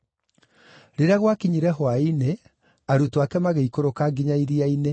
Rĩrĩa gwakinyire hwaĩ-inĩ arutwo ake magĩikũrũka nginya iria-inĩ,